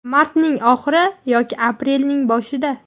Martning oxiri yoki aprelning boshida.